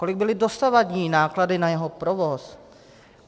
Kolik byly dosavadní náklady na jeho provoz.